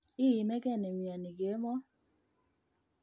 Iimeke nemioni kemo